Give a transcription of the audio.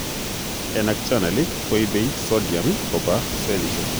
ENaC channel koibe sodium kobaa cellisiek